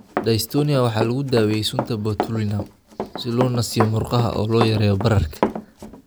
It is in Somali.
Dystonia waxaa lagu daweeyay sunta botulinum si loo nasiyo murqaha oo loo yareeyo bararka.